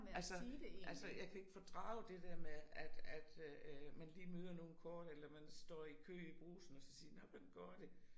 Altså altså jeg kan ikke fordrage det der med at at øh øh man lige møder nogen kort eller man står i kø i Brugsen og så siger nåh hvordan går det